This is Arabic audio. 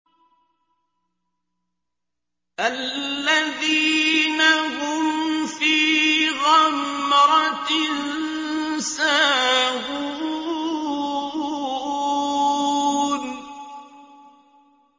الَّذِينَ هُمْ فِي غَمْرَةٍ سَاهُونَ